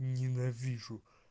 ненавижу